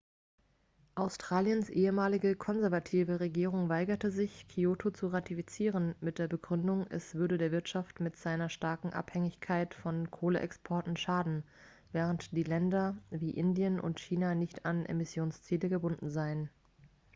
australiens ehemalige konservative regierung weigerte sich kyoto zu ratifizieren mit der begründung es würde der wirtschaft mit seiner starken abhängigkeit von kohleexporten schaden während länder wie indien und china nicht an emissionsziele gebunden seien